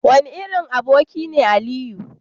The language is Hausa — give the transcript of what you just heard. wane irin aboki ne Aliyu?